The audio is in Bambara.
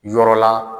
Yɔrɔ la